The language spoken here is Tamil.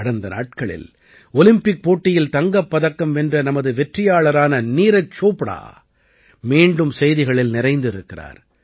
கடந்த நாட்களில் ஒலிம்பிக் போட்டியில் தங்கப் பதக்கம் வென்ற நமது வெற்றியாளரான நீரஜ் சோப்டா மீண்டும் செய்திகளில் நிறைந்திருக்கிறார்